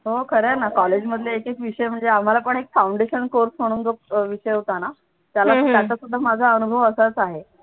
हो खरं आहे ना कॉलेजमधले एक एक विषय म्हणजे आम्हाला पण एक foundation course म्हणून जो एक विषय होता ना त्याला त्याचा सुद्धा माझा अनुभव असाच आहे.